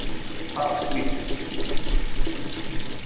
Það var skrýtið.